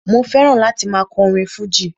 Mo fẹ́ràn láti máa kọ orin fújì